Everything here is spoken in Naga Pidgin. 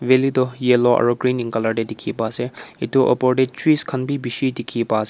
Valley toh yellow aro green in colour te dekhi pa ase etu upor te trees khan bi beshi dekhi pa ase.